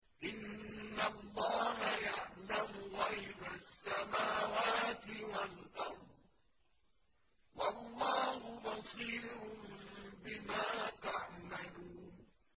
إِنَّ اللَّهَ يَعْلَمُ غَيْبَ السَّمَاوَاتِ وَالْأَرْضِ ۚ وَاللَّهُ بَصِيرٌ بِمَا تَعْمَلُونَ